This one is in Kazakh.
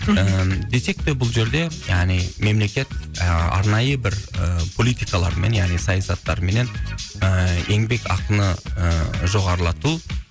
іім десек те бұл жерде яғни мемлекет арнайы бір политикалармен яғни саясаттарыменен ыыы еңбек ақыны ыыы жоғарлату